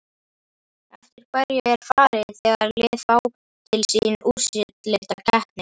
Eftir hverju er farið þegar lið fá til sín úrslitakeppnir?